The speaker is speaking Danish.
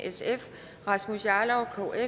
rasmus jarlov aaja